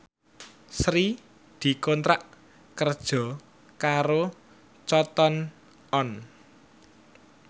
Sri dikontrak kerja karo Cotton On